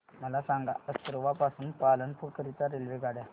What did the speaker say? मला सांगा असरवा पासून पालनपुर करीता रेल्वेगाड्या